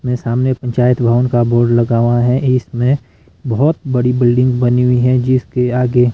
मेरे सामने पंचायत भवन का बोर्ड लगा हुआ है इसमें बहोत बड़ी बिल्डिंग बनी हुई है जिसके आगे--